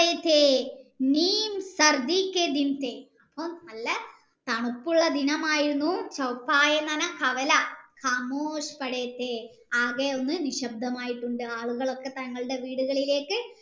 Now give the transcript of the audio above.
അപ്പം നല്ല തണുപ്പുള്ള ദിനമായിരുന്നു എന്ന് പറഞ്ഞാ കവല ആകെ ഒന്ന് നിശബ്തമായിട്ടുണ്ട് ആളുകൾ തൻ്റെ വീടുകളിലേക്ക്